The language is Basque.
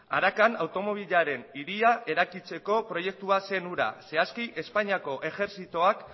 arakan automobilaren hiria eraikitzeko proiektua zen hura zehazki espainiako ejertzitoak